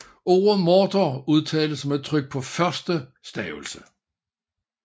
Ordet morter udtales med tryk på første stavelse